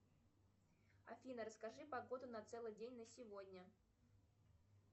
афина расскажи погоду на целый день на сегодня